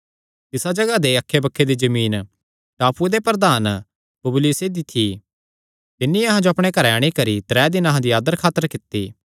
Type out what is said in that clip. तिसा जगाह दे अक्खैबक्खे दी जमीन टापूये दे प्रधान पुबलियुसे दी थी तिन्नी अहां जो अपणे घरैं अंणी करी त्रै दिन अहां दी आदर खातर कित्ती